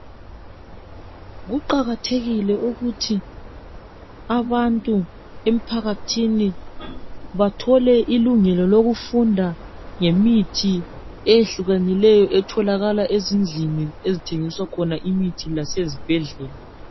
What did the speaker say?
Kuqakathekile ukuthi abantu emphakathini bathole ilungelo lokufunda ngemithi eyehlukanileyo etholakala ezindlini ezithengiswa imithi lasezibhedlela